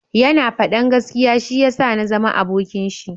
Ya na fadan gaskiya shi ya sa na zama abokin shi